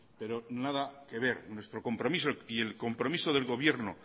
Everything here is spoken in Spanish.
pero nada que ver nuestro compromiso y el compromiso del gobierno